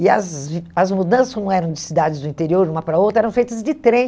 E as as mudanças, como eram de cidades do interior, de uma para a outra, eram feitas de trem.